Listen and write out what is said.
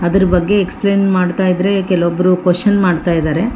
ಅದರ ಬಗ್ಗೆ ಎಕ್ಸಪ್ಲೈನ್ ಮಾಡ್ತಾ ಇದ್ರೆ ಕೆಲವೊಬ್ರು ಕ್ವೆಷನ್ ಮಾಡ್ತಾ ಇದಾರೆ.